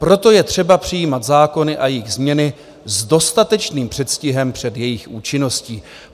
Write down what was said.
Proto je třeba přijímat zákony a jejich změny s dostatečným předstihem před jejich účinností."